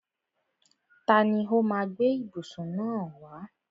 Tani ó má a gbé ìbùsùn náà wá?